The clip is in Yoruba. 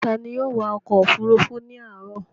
Ta ni yóò wa ọkọ̀-òfurufú ní àárọ̀?